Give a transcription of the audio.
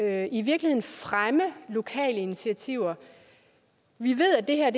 at i virkeligheden fremme lokale initiativer vi ved at det her